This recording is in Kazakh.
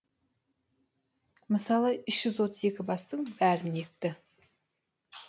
мысалы үш жүз отыз екі бастың бәрін екті